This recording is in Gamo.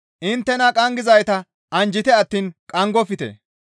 Inttena qanggizayta anjjite attiin qanggofte.